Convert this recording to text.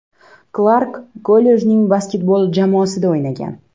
Klark kollejning basketbol jamoasida o‘ynagan.